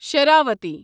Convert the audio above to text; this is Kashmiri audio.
شراوتی